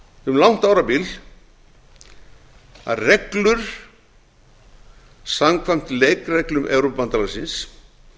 um langt árabil að reglur samkvæmt leikreglum evrópubandalagsins